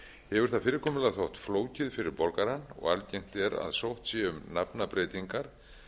hefur það fyrirkomulag þótt flókið fyrir borgarann og algengt er að sótt sé um nafnabreytingar